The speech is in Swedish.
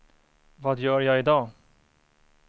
vad gör jag idag